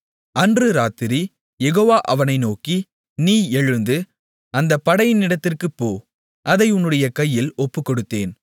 அன்று இராத்திரி யெகோவா அவனை நோக்கி நீ எழுந்து அந்த படையினிடத்திற்குப் போ அதை உன்னுடைய கையில் ஒப்புக்கொடுத்தேன்